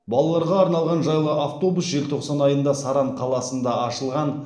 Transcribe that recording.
балаларға арналған жайлы автобус желтоқсан айында саран қаласында ашылған